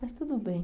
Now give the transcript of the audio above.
Mas tudo bem.